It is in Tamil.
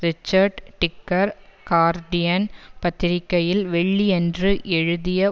ரிச்சர்ட் டிக்கர் கார்டியன் பத்திரிகையில் வெள்ளியன்று எழுதிய